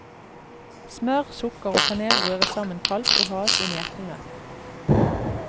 Smør, sukker og kanel røres sammen kaldt, og has inn i eplene.